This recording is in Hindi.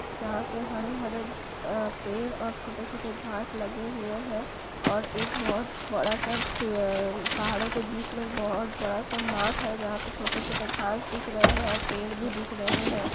यहाँ पे हरे-हरे अ पेड़ और छोटे-छोटे घाँस लगे हुए हैं और एक बहुत बड़ा सा पेड़--पहाड़ों के बीच मे एक बहुत बड़ा सा माठ है जहाँ पे छोटे-छोटे घाँस दिख रहे हैं और पेड़ भी दिख रहे हैं।